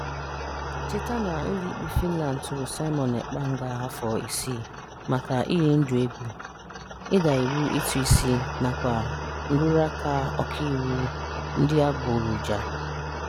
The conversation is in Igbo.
Cheta na ụlọikpe Fịnland tụrụ Simon Ekpa nga afọ isii maka iyi ndụ egwu, ịda iwu ụtụisi nakwa nrụrụaka ọkaiwu adịgboroja.